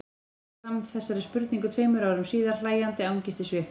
Skellir svo fram þessari spurningu tveim árum síðar, hlæjandi angist í svipnum.